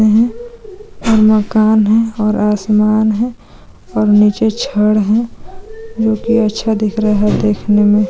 --और मकान है और आसमान है और नीचे छड़ है जोकि अच्छा दिख रहा है देखने में --